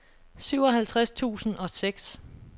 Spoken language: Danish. syvoghalvtreds tusind og seks